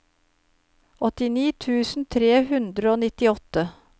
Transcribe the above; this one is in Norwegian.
åttini tusen tre hundre og nittiåtte